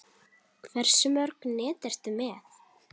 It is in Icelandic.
Hversu mörg net ertu með?